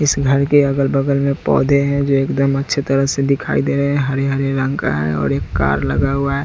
इस घर के अगल बगल में पौधे है जो एकदम अच्छे तरह से दिखाई दे रहे हरे हरे रंग का है और एक कार लगा हुआ--